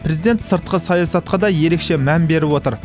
президент сыртқы саясатқа да ерекше мән беріп отыр